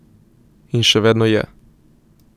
In še vedno je.